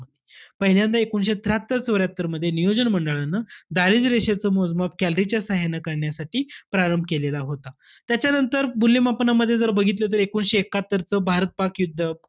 पहिल्यांदा एकोणीसशे त्र्याहत्तर चौर्यात्तरमध्ये, नियोजन मंडळानं, दारिद्र्य रेषेचं मोजमाप calorie च्या साहाय्यानं करण्यासाठी प्रारंभ केलेला होता. त्याच्यानंतर मूल्यमापनामध्ये जर बघितलं तर एकोणीसशे एक्कात्तरच भारत-पाक युद्ध,